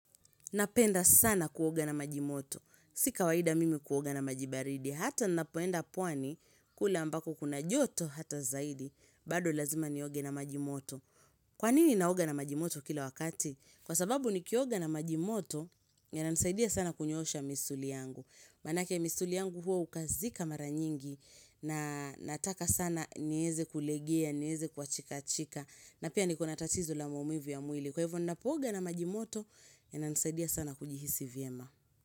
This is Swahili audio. Napenda sana kuoga na maji moto. Si kawaida mimi kuoga na maj ibaridi. Hata ninapoenda pwani kula ambako kuna joto hata zaidi. Bado lazima nioga na maji moto. Kwa nini naoga na maji moto kila wakati? Kwa sababu nikioga na maji moto yananisaidia sana kunyoosha misuli yangu. Manake misuli yangu huwa hukazika mara nyingi na nataka sana nieze kulegea, nieze kuachika chika na pia nikona tatizo la maumivu ya mwili. Kwa hivyo ninapooga na majimoto yananisaidia sana kujihisi vyema.